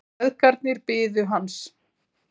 Feðgarnir biðu hans.